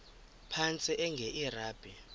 phantsi enge lrabi